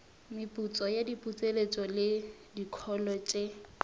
meputso diputseletšo le dikholo tše